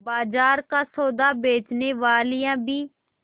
बाजार का सौदा बेचनेवालियॉँ भी